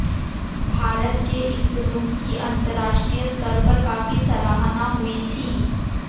भारत के इस रुख की अंतरराष्ट्रीय स्तर पर काफी सराहना हुई थी